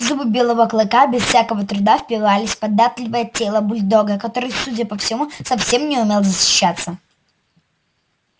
зубы белого клыка без всякого труда впивались в податливое тело бульдога который судя по всему совсем не умел защищаться